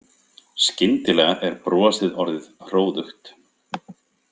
Skyndilega er brosið orðið hróðugt.